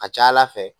A ka ca ala fɛ